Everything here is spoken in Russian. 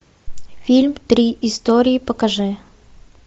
фильм три истории покажи